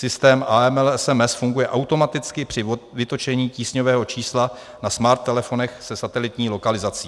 Systém AML SMS funguje automaticky při vytočení tísňového čísla na smart telefonech se satelitní lokalizací.